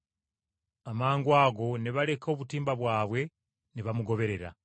Amangwago ne baleka obutimba bwabwe ne bamugoberera.